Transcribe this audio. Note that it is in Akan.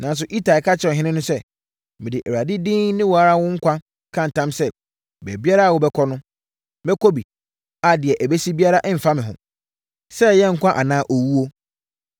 Nanso, Itai ka kyerɛɛ ɔhene no sɛ, “Mede Awurade din ne wo ara wo nkwa ka ntam sɛ, baabiara a wobɛkɔ no, mɛkɔ bi a deɛ ɛbɛsi biara mfa me ho, sɛ ɛyɛ nkwa anaa owuo.”